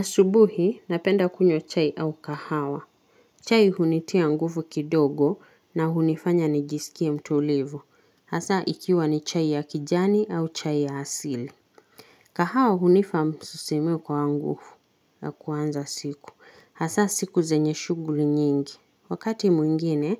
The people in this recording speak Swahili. Asubuhi, napenda kunywa chai au kahawa. Chai hunitia nguvu kidogo na hunifanya nijisikie mtulivu. Hasa, ikiwa ni chai ya kijani au chai ya asili. Kahawa hunipa msisimko wa nguvu na kuanza siku. Hasa, siku zenye shughuli nyingi. Wakati mwingine,